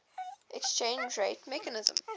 exchange rate mechanism